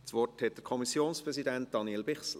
Das Wort hat der Kommissionspräsident, Daniel Bichsel.